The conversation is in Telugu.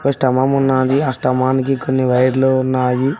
స్తంభం ఉన్నది ఆ స్తంభానికి కొన్ని వైర్లు ఉన్నాయి.